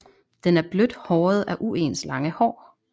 Den er blødt håret af uens lange hår